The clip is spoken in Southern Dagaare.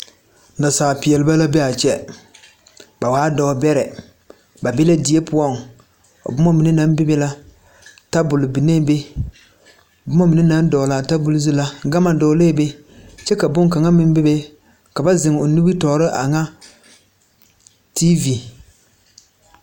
Naasaalpeelbɛ la be a kye ba waa doɔ bɛree ba bee die puo buma mene nang bebe la tabol bengɛɛ be buma mene nan dɔgli a tabol zu la gama dɔglee be kye ka bunkanga meng bebe ka ba zeng ɔ nimitoɔre anga tv.